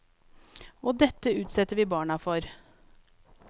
Og dette utsetter vi barna for.